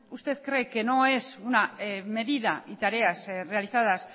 usted cree que no es una medida y tareas realizadas